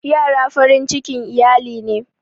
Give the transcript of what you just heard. Ƴara farin cikin iyali ne.